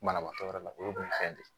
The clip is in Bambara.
Banabaatɔ yɛrɛ o ye kun fɛn de ye